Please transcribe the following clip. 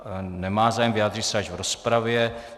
Nemá zájem, vyjádří se až v rozpravě.